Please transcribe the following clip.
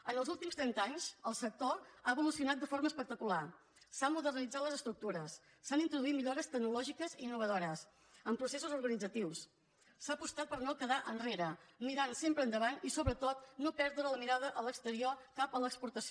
en els últims trenta anys el sector ha evolucionat de forma espectacular s’han modernitzat les estructures s’han introduït millores tecnològiques innovadores amb processos organitzatius s’ha apostat per no quedar enrere mirant sempre endavant i sobretot no perdre la mirada a l’exterior cap a l’exportació